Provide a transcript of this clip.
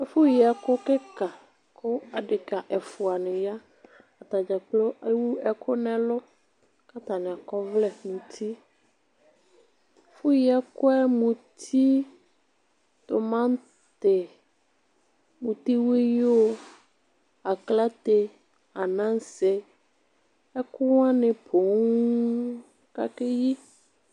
Ɛfʋ yi ɛku kikaku adelia dini yaatani dzakplo ewu ɛku nʋ ɛlʋ, ku atani akɔ ɔvlɛ nʋ utiɛfʋ yi ɛkʋ yɛ:muti, timati, mutiwuyu, aklate, Anase ɛkʋwanu pooŋ kʋ akeyi